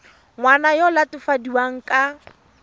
ngwana yo o latofadiwang ka